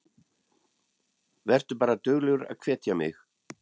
Vertu bara duglegur að hvetja mig.